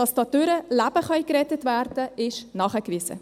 Dass dadurch Leben gerettet werden könnten, sei nachgewiesen.